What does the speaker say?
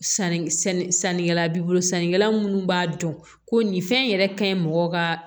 Sanni sannikɛla b'i bolo sannikɛla munnu b'a dɔn ko nin fɛn in yɛrɛ ka ɲi mɔgɔ ka